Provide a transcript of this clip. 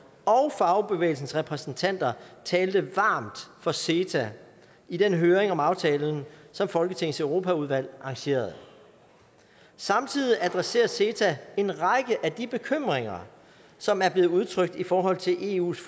og fagbevægelsens repræsentanter talte varmt for ceta i den høring om aftalen som folketingets europaudvalg arrangerede samtidig adresserer ceta en række af de bekymringer som er blevet udtrykt i forhold til eus